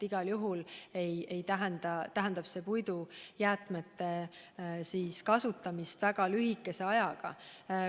Igal juhul tähendab see puidujäätmete kasutamist väga lühikest aega.